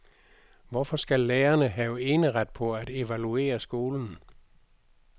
Hvorfor skal lærerne have eneret på at evaluere skolen.